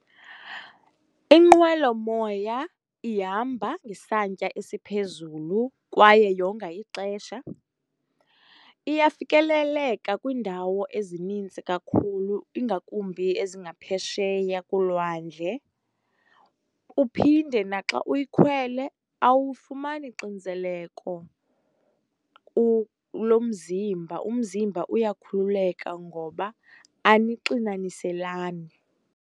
Inqwelomoya ihamba ngesantya esiphezulu kwaye yonga ixesha. Iyafikeleleka kwiindawo ezininzi kakhulu ingakumbi ezingaphesheya kolwandle. Uphinde naxa uyikhwele awufumani xinzeleko lomzimba. Umzimba uyakhululeka ngoba anixinaniselani.